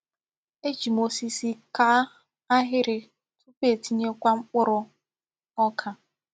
Ejì m osisi kàá ahịrị tupu etinyekwa mkpụrụ ọ́ka.